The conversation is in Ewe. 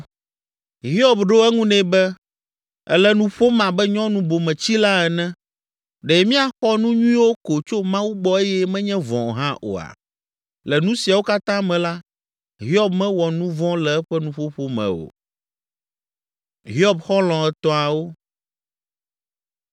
Hiob ɖo eŋu nɛ be, “Èle nu ƒom abe nyɔnu bometsila ene. Ɖe míaxɔ nu nyuiwo ko tso Mawu gbɔ eye menye vɔ̃ hã oa?” Le nu siawo katã me la, Hiob mewɔ nu vɔ̃ le eƒe nuƒoƒo me o.